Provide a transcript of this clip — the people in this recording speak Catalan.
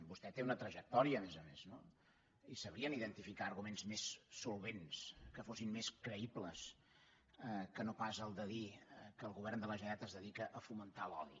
vostè té una trajectòria a més a més no i sabrien identificar arguments més solvents que fossin més creïbles que no pas el de dir que el govern de la generalitat es dedica a fomentar l’odi